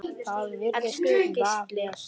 Elsku Gísli.